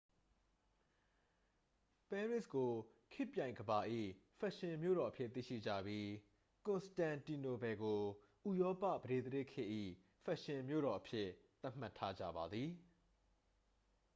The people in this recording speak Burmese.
ပဲရစ်ကို ခေတ်ပြိုင်ကမ္ဘာ၏ ဖက်ရှင်မြို့တော်အဖြစ် သိရှိကြပြီး ကွန်စတန်တီနိုပယ်ကို ဥရောပ ပဒေသရာဇ်ခေတ်၏ ဖက်ရှင်မြို့တော်အဖြစ် သတ်မှတ်ထားကြပါသည်